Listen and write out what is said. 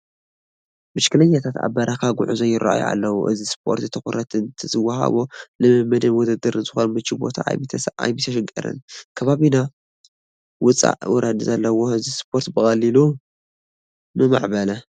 ብሽክለኛታት ኣብ ናይ በረኻ ጉዕዞ ይርአዩ ኣለዉ፡፡ እዚ ስፖርት ትኹረት እንተዝወሃቦ ንልምምድን ውድድርን ዝኾን ምችው ቦታ ኣይምተሸገርናን፡፡ ከባቢና ውፃእ ውረድ ዘለዎ እዚ ስፖርት ብቐሊሉ ምማዕበለ፡፡